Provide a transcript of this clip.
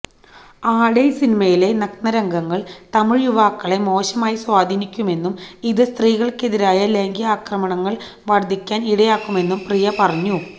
ആടൈ സിനിമയിലെ നഗ്നരംഗങ്ങള് തമിഴ് യുവാക്കളെ മോശമായി സ്വാധീനിക്കുമെന്നും ഇത് സ്ത്രീകള്ക്കെതിരായ ലൈംഗിക ആക്രമണങ്ങള് വര്ധിക്കാന് ഇടയാക്കുമെന്നും പ്രിയ പറഞ്ഞു